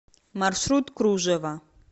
маршрут кружево